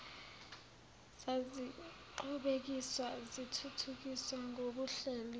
zaziqhubekiswa zithuthukiswa ngokuhleliwe